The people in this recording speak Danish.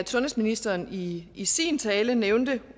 sundhedsministeren i i sin tale nævnte